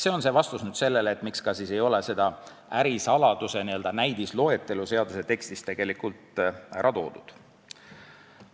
" See on vastus sellele, miks ei ole seda ärisaladuse n-ö näidisloetelu seaduse tekstis ära toodud.